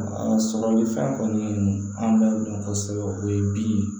A sɔrɔli fɛn kɔni an b'a dɔn kosɛbɛ o ye bi ye